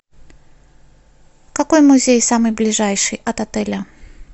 какой музей самый ближайший от отеля